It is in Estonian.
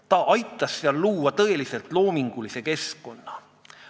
Ta aitas luua tõeliselt loomingulise keskkonna.